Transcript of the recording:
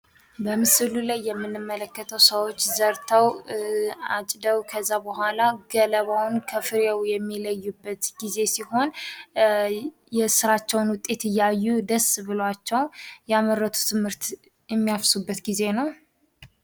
በምስሉ ላይ የምንመለከተው ሰዎች ዘርተው ፣ አጭደው ከዚያ በኋላ ገለባውን ከፍሬው የሚለዩበት ጊዜ ሲሆን የስራቸውን ዉጤት እያዩ ደስ ብሏቸው ያመረቱትን ምርት የሚያፍሱበት ጊዜ ነው።